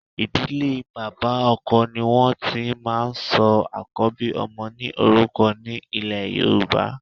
Ìdílé bàbá ọkọ ni wọn ti máa ń sọ àkọ́bí ọmọ ní orúkọ ní ilè Yorùbá.